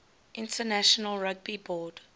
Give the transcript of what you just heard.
international rugby board